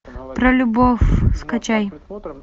про любовь скачай